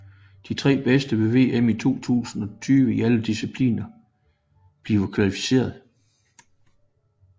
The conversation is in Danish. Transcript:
De tre bedste ved VM i 2020 i alle discipliner bliver kvalificeret